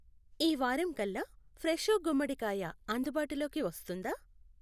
ఈ వారం కల్లా ఫ్రెషో గుమ్మడికాయ అందుబాటులోకి వస్తుందా?